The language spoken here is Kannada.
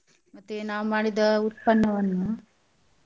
ಮತ್ತೆ ನಾವ್ ಮಾಡಿದ ಉತ್ಪನ್ನವನ್ನು